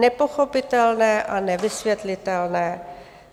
Nepochopitelné a nevysvětlitelné.